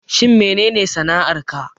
Shin menene sana'ar ka